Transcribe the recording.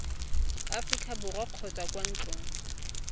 aforika borwa kgotsa kwa ntlong